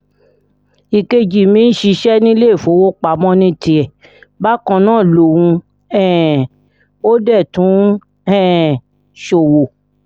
ìkejì mi ń ṣiṣẹ́ níléèfowópamọ́ ní tiẹ̀ báńkà lòun um ò dé tún ń um ṣòwò